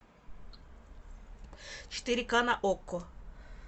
четыре ка на окко